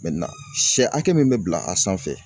sɛ hakɛ min bɛ bila a sanfɛ